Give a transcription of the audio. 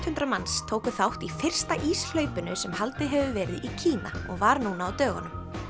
hundruð manns tóku þátt í fyrsta sem haldið hefur verið í Kína og var núna á dögunum